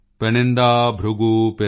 ਪੈਨਿੰਦਾ ਜਨਕਰਾਯਨੁ ਜਸੁਵਲੇਨਦਨੂ